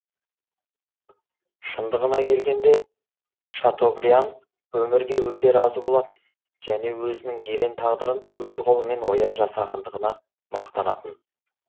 шындығына келгенде шатобриан өмірге өте разы болатын және өзінің ерен тағдырын өз қолымен ойып жасағандығына мақтанатын